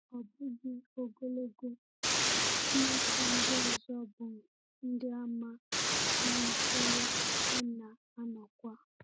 Ọ bụghị ogologo, ụmụaka ndị ọzọ bụ́ Ndịàmà malitere ịna-anọkwa.